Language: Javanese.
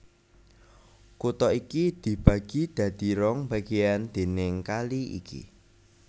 Kutha iki dibagi dadi rong bagéyan déning kali iki